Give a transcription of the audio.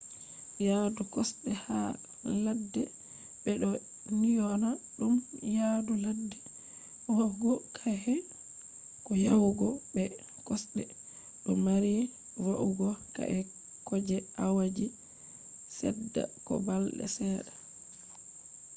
yaadu kosde ha ladde be do dyona dum yadu ladde va’ugo ka’e ko yahugo be kosde do mari va’ugo ka’e ko je awaji sedda ko balde sedda